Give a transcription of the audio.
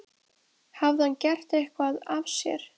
Hafði hann gert eitthvað af sér?